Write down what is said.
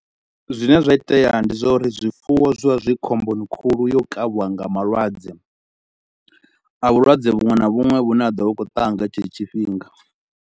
Zwine zwa itea ndi zwa uri zwifuwo zwi vha zwi khomboni khulu ya u kavhiwa nga malwadze a vhulwadze vhuṅwe na vhuṅwe vhune ha ḓo vha vhu tshi khou taa nga tshetsho tshifhinga.